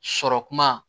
Sɔrɔ kuma